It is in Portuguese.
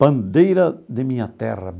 Bandeira de minha terra.